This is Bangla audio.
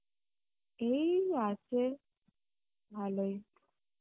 এই আছে ভালোই